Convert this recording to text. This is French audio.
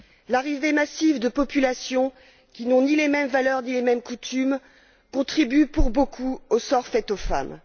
L'arrivée massive de populations, qui n'ont ni les mêmes valeurs ni les mêmes coutumes, contribue pour beaucoup au sort fait aux femmes.